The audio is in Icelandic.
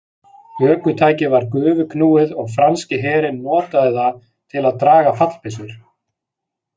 Ökutækið var gufuknúið og franski herinn notaði það til að draga fallbyssur.